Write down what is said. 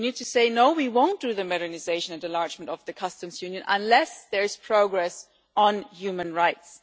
We need to say, no, we won't do the modernisation and enlargement of the customs union unless there is progress on human rights.